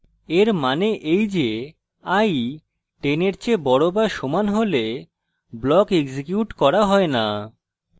এর means এই যে i 10 এর চেয়ে বড় বা সমান হলে block এক্সিকিউট করা হয় না